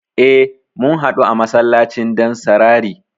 E, mun haɗu a masallacin Dansarari.